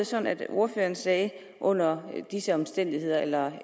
sådan at ordføreren sagde under disse omstændigheder eller